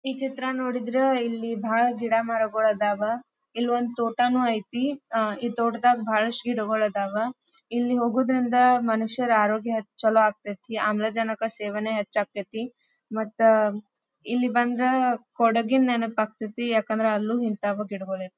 ಈ ಚಿತ್ರ ನೋಡಿದ್ರ ಇಲ್ಲಿ ಭಾಳ್ ಗಿಡ ಮರಗುಳ್ ಅದಾವಾ. ಇಲ್ಲೊಂದ್ ತೋಟನು ಐತಿ. ಅಹ್ ಈ ತೋಟದಗ್ ಭಾಳಷ್ಟ್ ಗಿಡಗಳ್ ಅದಾವಾ. ಇಲ್ಲಿ ಹೋಗೋದ್ರಿಂದ ಮನುಷ್ಯರ ಆರೋಗ್ಯ ಚಲೋ ಆಗ್ತತ್ತಿ ಆಮ್ಲಜನಕ ಸೇವನೆ ಹೆಚ್ಚಾಗತ್ತತಿ. ಮತ್ತ್ ಇಲ್ಲಿ ಬಂದ್ರ ಕೊಡಗಿನ್ ನೆನಪಾತೈತಿ ಯಾಕಂದ್ರ ಅಲ್ಲೂ ಇಂತವ ಗಿಡಗಳು ಇರತ್ವ್.